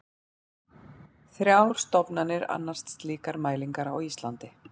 Þrjár stofnanir annast slíkar mælingar á Íslandi.